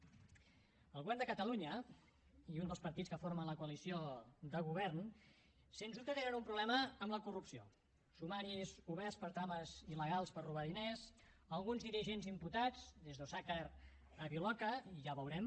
el govern de catalunya i un dels partits que formen la coalició de govern sens dubte tenen un problema amb la corrupció sumaris oberts per trames il·legals per robar diners alguns dirigents imputats des d’osàcar a viloca ja ho veurem